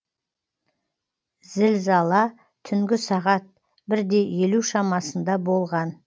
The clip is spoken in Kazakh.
зілзала түнгі сағат бір елу шамасында болған